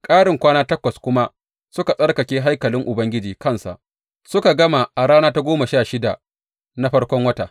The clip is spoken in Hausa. Karin kwana takwas kuma suka tsarkake haikalin Ubangiji kansa, suka gama a rana ta goma sha shida na farkon wata.